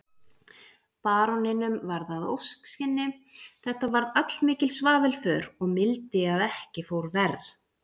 Baróninum varð að ósk sinni, þetta varð allmikil svaðilför og mildi að ekki fór verr.